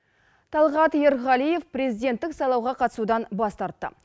талғат ерғалиев президенттік сайлауға қатысудан бас тартты